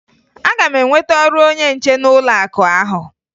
Aga m enweta ọrụ onye nche n'ụlọakụ ahụ